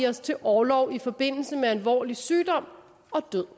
os til orlov i forbindelse med alvorlig sygdom og død